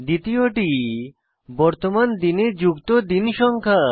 দ্বিতীয়টি বর্তমান দিনে যুক্ত দিন সংখ্যা